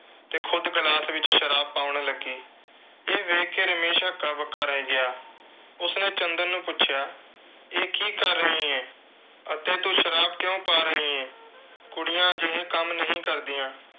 ਤੇ ਖੁਦ glass ਵਿੱਚ ਸ਼ਰਾਬ ਪਾਉਣ ਲੱਗੀ। ਇਹ ਦੇਖ ਕੇ ਰਮੇਸ਼ ਹੱਕਾ-ਬੱਕਾ ਰਹਿ ਗਿਆ। ਉਸਨੇ ਚੰਦਰ ਨੂੰ ਪੁੱਛਿਆ ਇਹ ਕੀ ਕਰ ਰਹੀ ਏਂ ਅਤੇ ਤੂੰ ਸ਼ਰਾਬ ਕਿਉਂ ਪਾ ਰਹੀਂ ਏਂ।